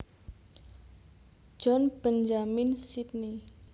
John Benjamins Sydney